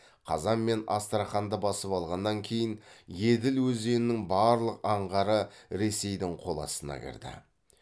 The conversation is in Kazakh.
қазан мен астраханьды басып алғаннан кейін еділ өзенінің барлық аңғары ресейдің қол астына кірді